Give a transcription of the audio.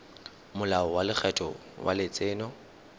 molao wa lekgetho wa letseno